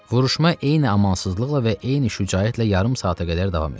Vuruşma eyni amansızlıqla və eyni şücaətlə yarım saata qədər davam etdi.